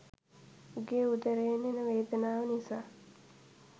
උගේ උදරයෙන් එන වේදනාව නිසා